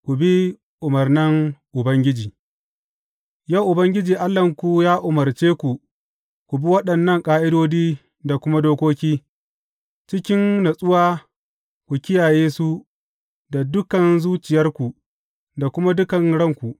Ku bi umarnan Ubangiji Yau Ubangiji Allahnku ya umarce ku ku bi waɗannan ƙa’idodi da kuma dokoki, cikin natsuwa ku kiyaye su da dukan zuciyarku da kuma dukan ranku.